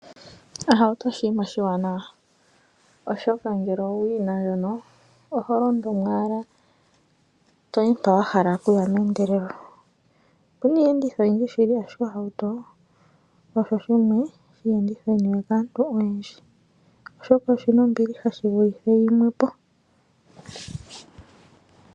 Ohauto oshinima oshiwanawa oshoka ngele owu yina ndjono oho londo mo owala toyi mpa wahala okuya meendelelo . Opuna iiyenditho oyindji shili ashike ohauto osho shimwe shomiiyenditho yi niwe kaantu oyendji oshoka oshina ombiliha shi vule yimwe po.